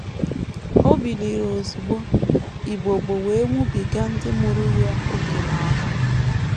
O biliri ozugbo, “ ibobo wee nwụbiga ndị mụrụ ya ókè n’ahụ. ”